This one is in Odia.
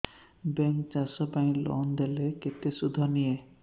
ବ୍ୟାଙ୍କ୍ ଚାଷ ପାଇଁ ଲୋନ୍ ଦେଲେ କେତେ ସୁଧ ନିଏ